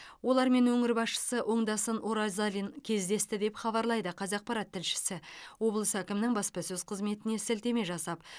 олармен өңір басшысы оңдасын оразалин кездесті деп хабарлайды қазақпарат тілшісі облыс әкімінің баспасөз қызметіне сілтеме жасап